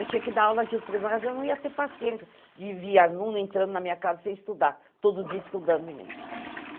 Eu tinha que dar aula de tudo, mas eu não ia ter paciência de vir aluno entrando na minha casa sem estudar, todo dia estudando em mim.